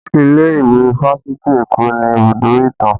Ilé ìwé fásitì Eko ni ibùdó ìtàn